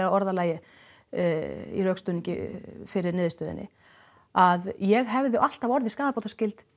orðalagi í rökstuðningi fyrir niðurstöðunni að ég hefði alltaf orðið skaðabótaskyld